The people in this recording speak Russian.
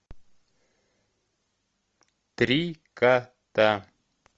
три кота